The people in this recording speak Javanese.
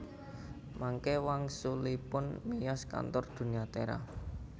Mangke wangsulipun miyos kantor Dunia Tera